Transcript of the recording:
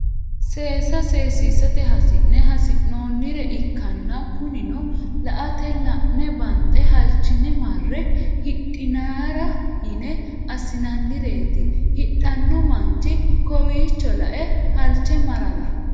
seesa seesisate hasi'ne assinoonnire ikkanna kunino ilaete la'ne banxe halchine marrre hidhinara yine assinoonireeti hidhanno manchi kowiicho la"e halche marara.